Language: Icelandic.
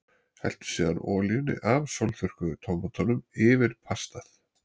Helltu síðan olíunni af sólþurrkuðu tómötunum yfir pastað.